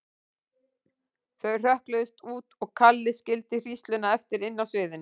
Þau hrökkluðust út og Kalli skildi hrísluna eftir inni á sviðinu.